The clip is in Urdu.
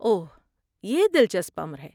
اوہ، یہ دلچسپ امر ہے۔